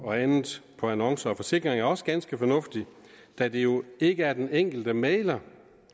og andet på annoncer og forsikring er også ganske fornuftig da det jo ikke er den enkelte mægler